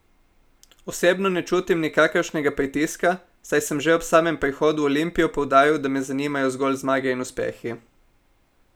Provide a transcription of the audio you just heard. Osebno ne čutim nikakršnega pritiska, saj sem že ob samem prihodu v Olimpijo poudaril, da me zanimajo zgolj zmage in uspehi.